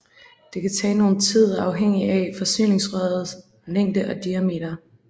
Det kan tage nogen tid afhængig af forsyningsrøret længde og diameter